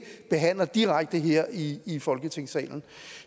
behandler direkte her i i folketingssalen